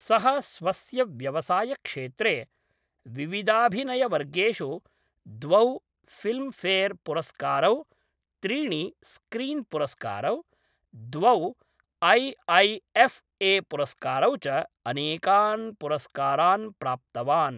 सः स्वस्य व्यवसायक्षेत्रे विविधाभिनयवर्गेषु द्वौ फिल्मफेयरपुरस्कारौ, त्रीणि स्क्रीन्पुरस्कारौ, द्वौ ऐ ऐ एफ् ए पुरस्कारौ च अनेकान् पुरस्कारान् प्राप्तवान् ।